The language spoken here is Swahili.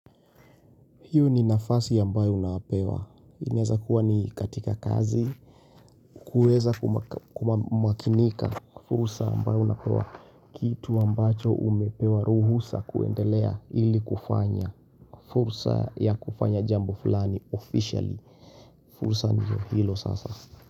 Hio ni nafasi ambayo unapewa. Inaeza kuwa ni katika kazi. Kuweza kumakinika. Fursa ambayo unapewa kitu ambacho umepewa ruhusa kuendelea ili kufanya. Fursa ya kufanya jambo fulani officially. Fursa ndio hilo sasa.